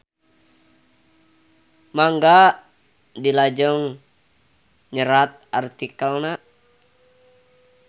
Mangga dilajeng nyerat artikelna.